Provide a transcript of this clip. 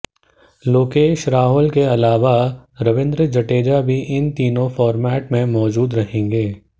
लोकेश राहुल के अलावा रवींद्र जडेजा भी तीनों फार्मेट में मौजूद रहेंगे